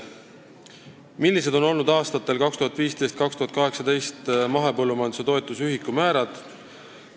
Millised olid aastatel 2015–2018 mahepõllumajanduse toetuse ühikumäärad?